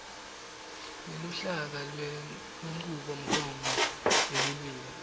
neluhlaka lwenchubomgomo yelulwimi